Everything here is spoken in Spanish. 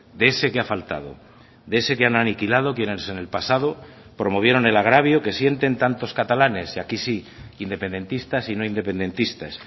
de ese que ha faltado de ese que han aniquilado quienes en el pasado promovieron el agravio que sienten tantos catalanes y aquí sí independentistas y no independentistas